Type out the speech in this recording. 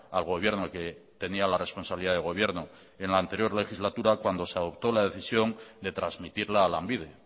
al gobierno que tenía la responsabilidad de gobierno en la anterior legislatura cuando se optó la decisión de transmitirla a lanbide